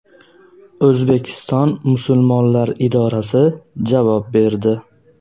O‘zbekiston musulmonlari idorasi javob berdi.